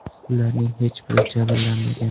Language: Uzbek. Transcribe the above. Ularning hech biri jabrlanmagan.